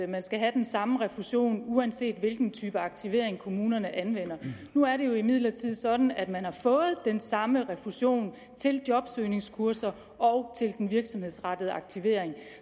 man skal have den samme refusion uanset hvilken type aktivering kommunerne anvender nu er det jo imidlertid sådan at man har fået den samme refusion til jobsøgningskurser og til den virksomhedsrettede aktivering